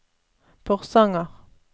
Porsanger